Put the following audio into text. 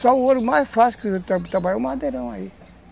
Só o ouro mais fácil de trabalhar é o madeirão aí.